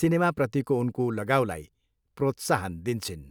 सिनेमाप्रतिको उनको लगाउलाई प्रोत्साहन दिन्छिन्।